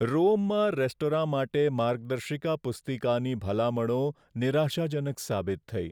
રોમમાં restaurant માટે માર્ગદર્શિકા પુસ્તિકાની ભલામણો નિરાશાજનક સાબિત થઈ.